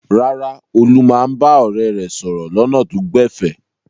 Rárá, Olú máa ń bá ọ̀rẹ́ rẹ̀ sọ̀rọ̀ lọ́nà tó gbẹ̀fẹ̀.